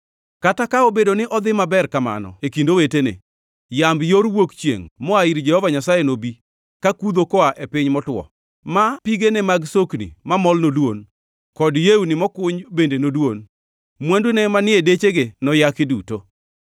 kata ka obedo ni odhi maber kamano e kind owetene. Yamb yor wuok chiengʼ moa ir Jehova Nyasaye nobi, kakudho koa e piny motwo, ma pigene mag sokni mamol nodwon, kod yewni mokuny bende nodwon. Mwandune manie dechege noyaki duto.